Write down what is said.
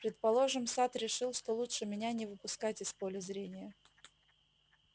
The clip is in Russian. предположим сатт решит что лучше меня не выпускать из поля зрения